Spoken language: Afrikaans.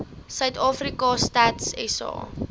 suidafrika stats sa